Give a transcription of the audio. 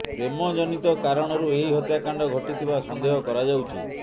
ପ୍ରେମ ଜନିତ କାରଣରୁ ଏହି ହତ୍ୟାକାଣ୍ଡ ଘଟିଥିବା ସନ୍ଦେହ କରାଯାଉଛି